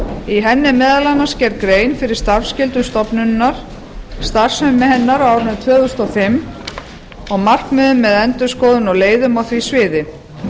í henni er meðal annars gerð grein fyrir starfsskýrslu stofnunarinnar starfsemi hennar á árinu tvö þúsund og fimm og markmiðum með endurskoðun á leiðum á því sviði